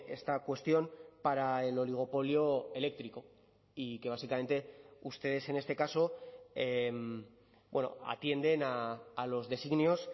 esta cuestión para el oligopolio eléctrico y que básicamente ustedes en este caso atienden a los designios